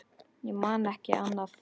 Ég man ekki annað.